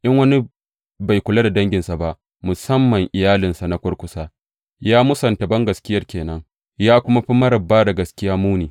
In wani bai kula da danginsa ba, musamman iyalinsa na kurkusa, ya mūsunta bangaskiya ke nan, ya kuma fi marar ba da gaskiya muni.